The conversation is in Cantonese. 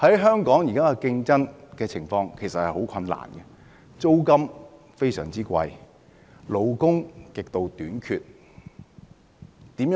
香港現時的經營情況其實十分困難，租金非常高，勞工極度短缺。